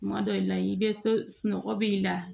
Kuma dɔ i la i bɛ to sunɔgɔ b'i la